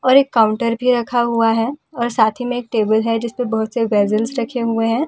और एक काउंटर भी रखा हुआ है और साथी में एक टेबल है जिस पे बहुत से रखे हुए हैं और जिस पर।